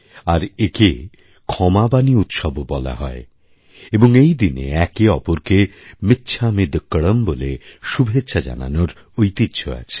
আর একে ক্ষমাবাণী উৎসবও বলা হয় এবং এই দিনে একে অপরকে মিচ্ছামিদুক্কড়ম বলে শুভেচ্ছা জানানোর ঐতিহ্য আছে